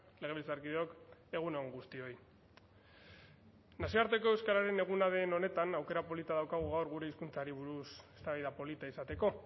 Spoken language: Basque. legebiltzarkideok egun on guztioi nazioarteko euskararen eguna den honetan aukera polita daukagu gaur gure hizkuntzari buruz eztabaida polita izateko